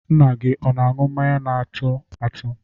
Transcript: Nna gị ọ na-aṅụ mmanya na-atụ atụ?